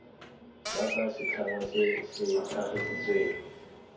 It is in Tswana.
jaaka setlhangwa se se tlhagisitsweng